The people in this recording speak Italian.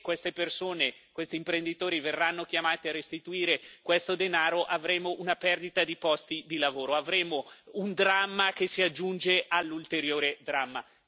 Se questi imprenditori verranno chiamati a restituire il denaro in questione, avremo una perdita di posti di lavoro, avremo un dramma che si aggiunge all'ulteriore dramma.